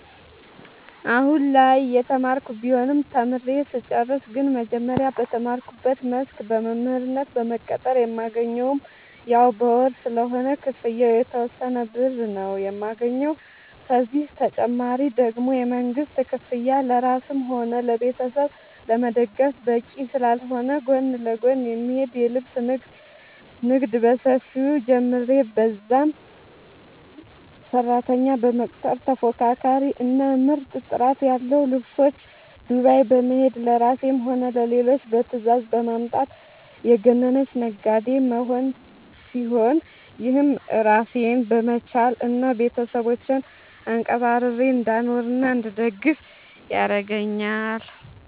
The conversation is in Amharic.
አሁላይ እየተማርኩ ቢሆንም ተምሬ ስጨርስ ግን መጀመሪያ በተማርኩበት መስክ በመምህርነት በመቀጠር የማገኘውም ያው በወር ስለሆነ ክፍያው የተወሰነ ብር ነው የማገኘው፤ ከዚህ ተጨማሪ ደግሞ የመንግስት ክፍያ ለራስም ሆነ ቤተሰብ ለመደገፍ በቂ ስላልሆነ ጎን ለጎን የሚሄድ የልብስ ንግድ በሰፊው ጀምሬ በዛም ሰራተኛ በመቅጠር ተፎካካሪ እና ምርጥ ጥራት ያለው ልብሶች ዱባይ በመሄድ ለራሴም ሆነ ለሌሎች በትዛዝ በማምጣት የገነነች ነጋዴ መሆን ሲሆን፤ ይህም ራሴን በመቻል እና ቤተሰቦቼን አንቀባርሬ እንዳኖርናእንድደግፍ ያረገአኛል።